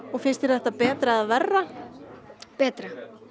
finnst þér þetta betra eða verra betra